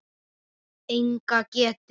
Enga getu.